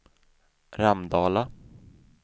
Ramdala